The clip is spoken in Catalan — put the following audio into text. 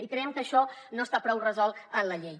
i creiem que això no està prou resolt en la llei